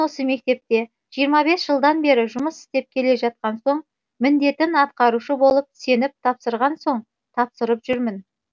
осы мектепте жиырма бес жылдан бері жұмыс істеп келе жатқан соң міндетін атқарушы болып сеніп тапсырған соң тапсырып жүрмін